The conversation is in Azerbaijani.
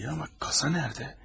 İyi amma kasa nədə?